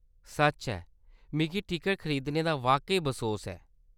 सच्च ऐ, मिगी टिकट खरीदने दा वाकई बसोस ऐ।